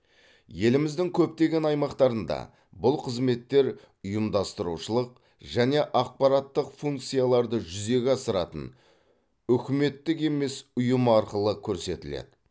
еліміздің көптеген аймақтарында бұл қызметтер ұйымдастырушылық және ақпараттық функцияларды жүзеге асыратын үкіметтік емес ұйым арқылы көрсетіледі